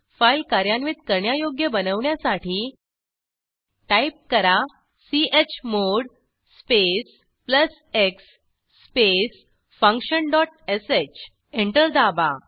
file कार्यान्वित करण्यायोग्य बनवण्यासाठी टाईप करा chmod space plus x space function dot sh enter दाबा